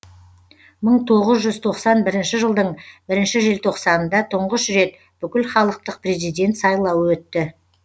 мың тоғыз жүз тоқсан бірінші жылдың бірінші желтоқсанында тұңғыш рет бүкілхалықтық президент сайлауы өтті